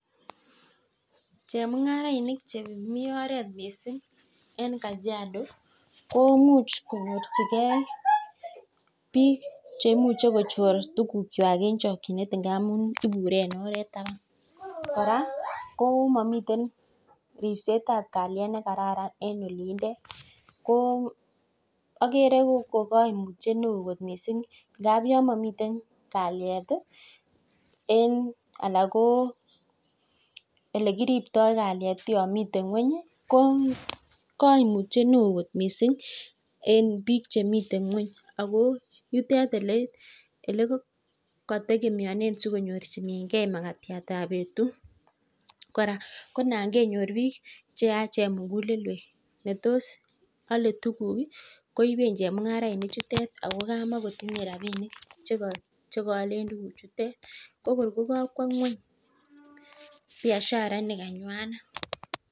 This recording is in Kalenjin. Chemungarainik Chemiten oret mising en Kajiado komuch konyorchigei bik cheimuche kochor tuguk chwag en chakinet ngamun ibure en oret taban koraa komamiten ribset ab kaliet nekararan en olindet koagere kokaimutyet neon kot mising ngab yamiten kaliet en anan ko elekitibto kaliet komamiten ngweny ko kaimutiet neon kot mising en bik Chemiten ngweny amun yutet olekategemeanen makatiat ab betut koraa Konan kenyor bik cheyachen muguleldo netos ale tuguk koiben chemungarainik chutet akokamakotinye rabinik chekayalel tuguk chutet akor kokawa ngweny Biashara nikanywanet